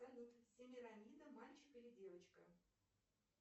салют семирамида мальчик или девочка